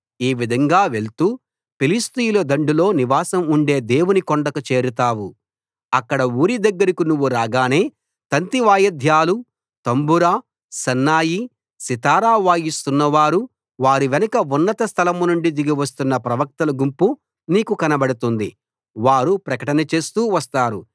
ఈ విధంగా వెళ్తూ ఫిలిష్తీయుల దండులో నివాసం ఉండే దేవుని కొండకు చేరతావు అక్కడ ఊరి దగ్గరకి నువ్వు రాగానే తంతి వాయిద్యాలు తంబుర సన్నాయి సితారా వాయిస్తున్నవారు వారి వెనుక ఉన్నత స్థలం నుండి దిగి వస్తున్న ప్రవక్తల గుంపు నీకు కనబడుతుంది వారు ప్రకటన చేస్తూ వస్తారు